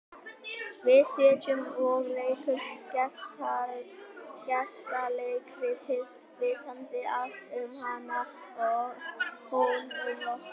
Við sitjum og leikum gestaleikritið, vitandi allt um hana og hún um okkur.